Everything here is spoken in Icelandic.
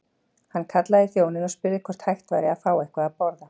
Hann kallaði í þjóninn og spurði hvort hægt væri að fá eitthvað að borða.